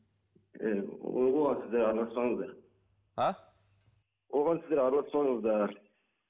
сіздер араласпаңыздар а оған сіздер араласпаңыздар